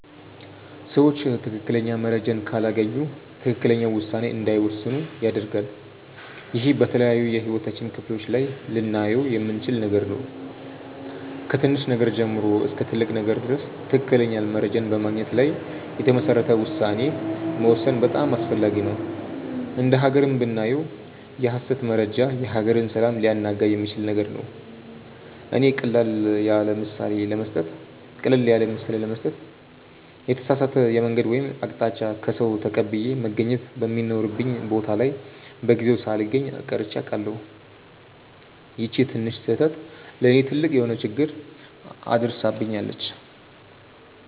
ሰዎች ትክክለኛ መረጃን ካላገኙ ትክክለኛ ውሳኔ እንዳይወስኑ ያደርጋል። ይህ በተለያዩ የህይወታችን ክፍሎች ላይ ልናየው የምንችል ነገር ነው። ከትንሽ ነገር ጀምሮ እስከ ትልቅ ነገር ድረስ ትክክለኛ መረጃን በማግኘት ላይ የተመሰረተ ውሳኔ መወሰን በጣም አስፈላጊ ነው። እንደ ሃገርም ብናየው የሐሰት መረጃ የሀገርን ሰላም ሊያናጋ የሚችል ነገር ነው። እኔ ቀለል ያለምሳሌ ለመስጠት የተሳሳተ የመንገድ ወይም አቅጣጫ ከሰዉ ተቀብዬ መገኘት በሚኖርብኝ ቦታ ላይ በጊዜው ሳልገኝ ቀርቼ አውቃለሁ። ይቺ ትንሽ ስህተት ለእኔ ትልቅ የሆነ ችግር አድርሳብኛለች።